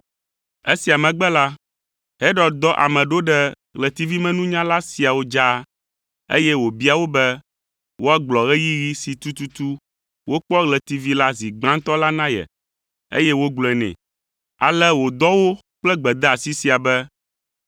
Esia megbe la, Herod dɔ ame ɖo ɖe ɣletivimenunyala siawo dzaa, eye wòbia wo be woagblɔ ɣeyiɣi si tututu wokpɔ ɣletivi la zi gbãtɔ la na ye, eye wogblɔe nɛ. Ale wòdɔ wo kple gbedeasi sia be,